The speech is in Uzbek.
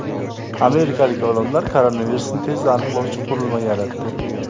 Amerikalik olimlar koronavirusni tezda aniqlovchi qurilma yaratdi.